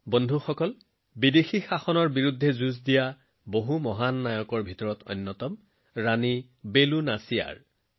বন্ধুসকল বিদেশী শাসনৰ বিৰুদ্ধে যুঁজ দিয়া সেই মহান ব্যক্তিসকলৰ ভিতৰত ৰাণী বেলু নাচিয়াৰ অন্যতম